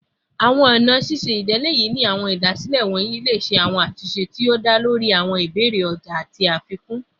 Awọn ọna ṣiṣe idiyele ni awọn idasile wọnyi le ṣe awọn atunṣe ti o da lori awọn ibeere ọja ati afikun